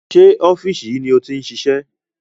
Sé ọ́fíìsì yìí ni o ti ń ṣiṣẹ́?